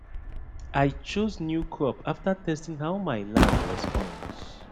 i chose new crop after testing how my land responds